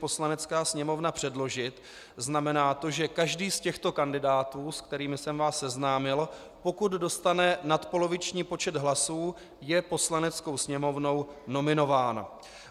Poslanecká sněmovna předložit, znamená to, že každý z těchto kandidátů, se kterými jsem vás seznámil, pokud dostane nadpoloviční počet hlasů, je Poslaneckou sněmovnou nominován.